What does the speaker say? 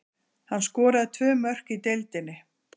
Hann skoraði tvö mörk í deildinni.